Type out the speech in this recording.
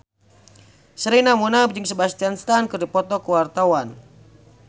Sherina Munaf jeung Sebastian Stan keur dipoto ku wartawan